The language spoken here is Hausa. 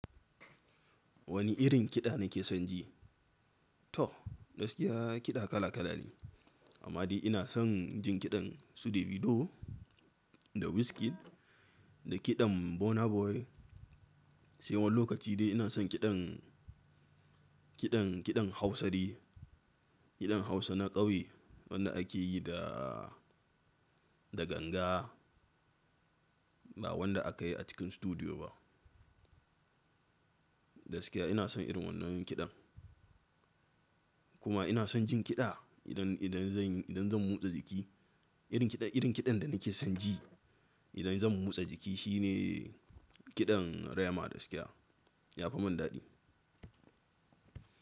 Wani irin kiɗa nake son ji? To, gaskiya kiɗa kala kala ne. Amma dai ina son jin kiɗan Su de Vido da Wizkid da kiɗan Burna Boy. Sai wani lokaci dai ina son kiɗan, kiɗan, kiɗan Hausa ne. Kiɗan Hausa na ƙauye wanda ake yi da, da ganga. Ba wanda aka yi a cikin studiyo ba. Gaskiya ina son irin wannan kiɗan. Kuma ina son jin kiɗa idan, idan zan yi, idan zan motsa jiki. Irin kiɗan, irin kiɗan da nake son ji idan zan motsa jiki shine kiɗan Rema gaskiya. Yafi mun daɗi.